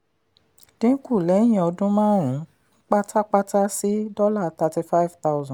dín kù lẹ́yìn ọdún márùn-ún pátápátá sí dollar thirty-five thousand